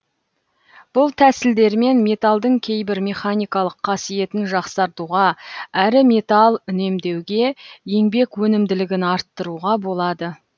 бұл тәсілдермен металдың кейбір механикалық қасиетін жақсартуға әрі металл үнемдеуге еңбек өнімділігін арттыруға болады